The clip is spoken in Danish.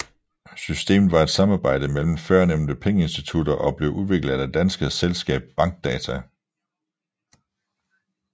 Systemet var et samarbejde mellem førnævnte pengeinstitutter og blev udviklet af det danske selskab Bankdata